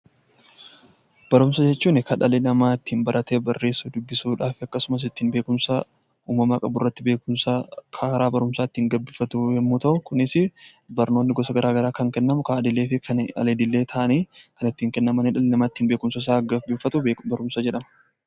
Barumsa jechuun kan dhalli namaa ittiin baratee barreessu, dubbisuudhaafi akkasumas ittiin beekumsa uumamaa qaburratti beekumsa haaraa kan ittiin gabbifatu yoo ta'u, kunis barnoonni gosa garaa garaa kan kennamu: karaa idilee fi karaa al idilee ta'anii kan ittiin kennama idha nama ittiin beekumsa isaa gabbifatu barumsa jedhama.